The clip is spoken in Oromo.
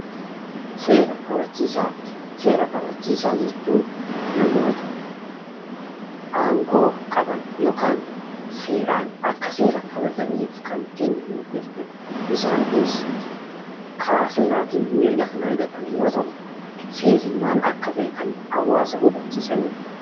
Seera kabachiisaa jechuun namoota aangoo qaban yookaan seeraan akka seera kabachiisaniif kan itti kenname jechuudha. Isaan kunis karaa seeraatiin eeyyama kan argatan yeroo ta'u, seerri maal akka ta'e kan hawaasa hubachiisanidha.